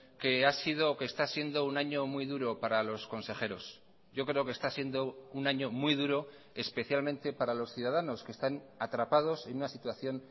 que ha sido o que está siendo un año muy duro para los consejeros yo creo que está siendo un año muy duro especialmente para los ciudadanos que están atrapados en una situación